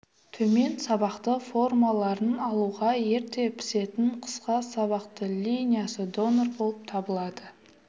төмен сабақты формаларын алуға ерте пісетін қысқа сабақты линиясы донор болып табылады